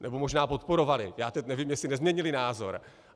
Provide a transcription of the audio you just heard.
Nebo možná podporovaly, já teď nevím, jestli nezměnily názor.